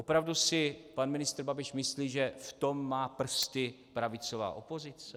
Opravdu si pan ministr Babiš myslí, že v tom má prsty pravicová opozice?